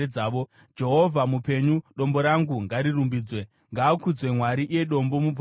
“Jehovha mupenyu! Dombo rangu ngarirumbidzwe! Ngaakudzwe Mwari, iye Dombo, Muponesi wangu!